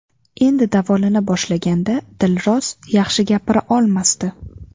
Endi davolana boshlaganda Dilroz yaxshi gapira olmasdi.